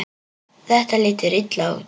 Þetta lítur illa út.